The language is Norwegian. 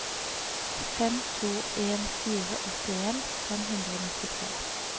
fem to en fire åttien fem hundre og nittitre